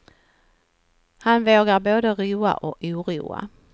Han vågar både roa och oroa.